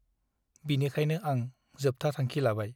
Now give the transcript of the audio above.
बिनिखायनो आं जोबथा थांखि लाबाय ।